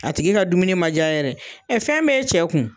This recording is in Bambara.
A tigi ka dumuni ma diya yɛrɛ fɛn b'e cɛ kun